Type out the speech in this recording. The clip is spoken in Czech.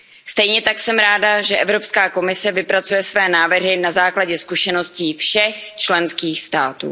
Stejně tak jsem ráda, že Evropská komise vypracuje své návrhy na základě zkušeností všech členských států.